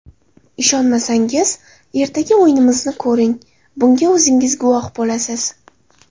Ishonmasangiz, ertaga o‘yinimizni ko‘ring, bunga o‘zingiz guvoh bo‘lasiz!